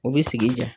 U bɛ sigi diya